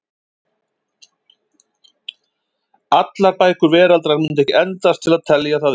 Allar bækur veraldar mundu ekki endast til að telja það upp.